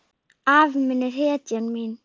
Afi minn er hetjan mín.